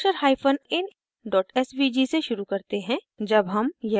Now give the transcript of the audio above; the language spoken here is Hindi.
अब brochurein svg से शुरू करते हैं